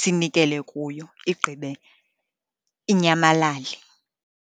sinikele kuyo igqibe inyamalale.